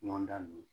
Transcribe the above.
Ɲɔgɔn dan ninnu